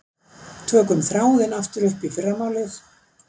Tökum þráðinn aftur upp í fyrramálið.